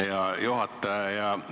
Hea juhataja!